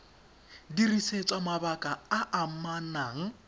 dirisetswa mabaka a a amanang